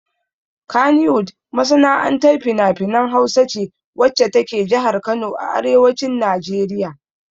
Kannywood masana'antar finafinan Hausa ce wacce ta ke jihar Kano a arewacin Najeriya.